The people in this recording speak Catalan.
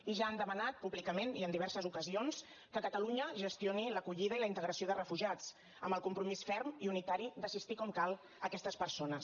i ja han demanat públicament i en diverses ocasions que catalunya gestioni l’acollida i la integració de refugiats amb el compromís ferm i unitari d’assistir com cal aquestes persones